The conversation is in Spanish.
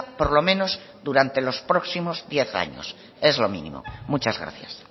por lo menos durante los próximos diez años es lo mínimo muchas gracias